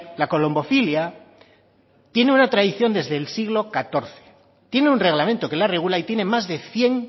la colombofilia tiene una tradición desde el siglo catorce tiene un reglamento que la regula y tiene más de cien